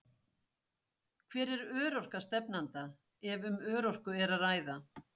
Hver er örorka stefnanda, ef um örorku er að ræða?